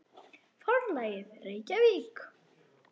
Forlagið, Reykjavík.